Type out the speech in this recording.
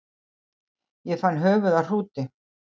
Ég fann höfuð af hrúti